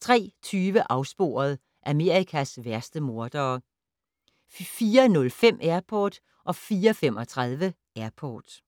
03:20: Afsporet - Amerikas værste mordere 04:05: Airport 04:35: Airport